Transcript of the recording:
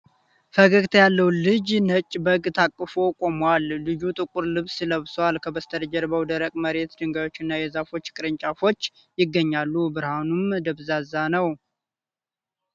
ፈገግታ ያለው ልጅ ነጭ በግ ታቅፎ ቆሟል። ልጁ ጥቁር ልብስ ለብሷል። ከበስተጀርባው ደረቅ መሬት፣ ድንጋዮች እና የዛፍ ቅርንጫፎች ይገኛሉ፣ ብርሃኑም ደብዝዟል።